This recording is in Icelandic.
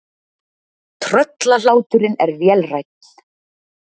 Tröllahláturinn er vélrænn.